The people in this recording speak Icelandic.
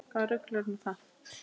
Hvaða rugl er nú það?